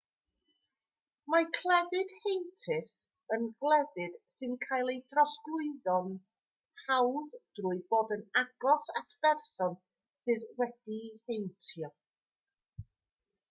mae clefyd heintus yn glefyd sy'n cael ei drosglwyddo'n hawdd trwy fod yn agos at berson sydd wedi'i heintio